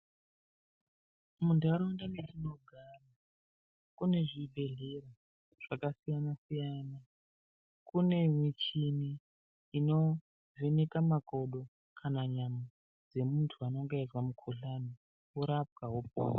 Muntaraunda metinogara kune zvibhedhlera zvakasiyana siyana kune michini inovheneka makodo kana nyama dzemuntu unenge eizwe mukuhlani worapwa wopora.